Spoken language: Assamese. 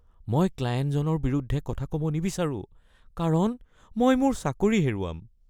মই ক্লায়েণ্টজনৰ বিৰুদ্ধে কথা ক’ব নিবিচাৰো কাৰণ মই মোৰ চাকৰি হেৰুৱাম